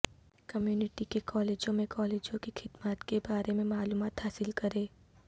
community کے کالجوں میں کالجوں کی خدمات کے بارے میں معلومات حاصل کریں